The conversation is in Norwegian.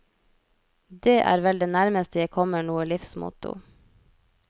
Dét er vel det nærmeste jeg kommer noe livsmotto.